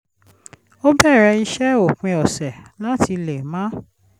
ó bẹ̀rẹ̀ iṣẹ́ òpin ọ̀sẹ̀ láti lè máa